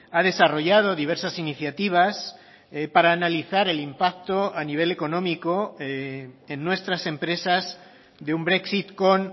ha desarrollado diversas iniciativas para analizar el impacto a nivel económico en nuestras empresas de un brexit con